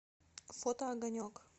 фото огонек